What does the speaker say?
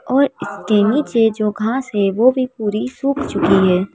और इसके नीचे जो घास है वो भी पूरी सूख चुकी है।